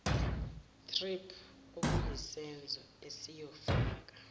thrip okuyisenzo esiyofaka